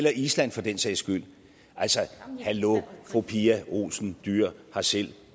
af island for den sags skyld altså hallo fru pia olsen dyhr har selv